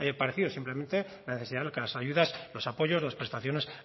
parecido simplemente la necesidad de que las ayudas los apoyos las prestaciones